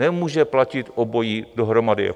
Nemůže platit obojí dohromady.